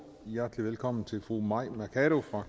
hjertelig velkommen til fru mai mercado